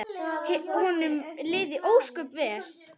Honum liði ósköp vel.